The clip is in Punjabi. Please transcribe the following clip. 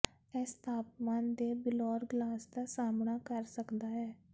ਇਸ ਤਾਪਮਾਨ ਦੇ ਬਿਲੌਰ ਗਲਾਸ ਦਾ ਸਾਮ੍ਹਣਾ ਕਰ ਸਕਦਾ ਹੈ